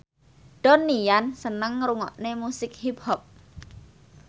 Donnie Yan seneng ngrungokne musik hip hop